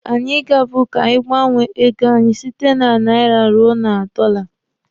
Anyi gaburu ka anyị gbanwee ego anyị site na naira ruo na dọla.